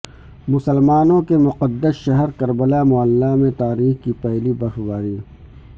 مسلمانوں کے مقدس شہر کربلا معلی میں تاریخ کی پہلی برف باری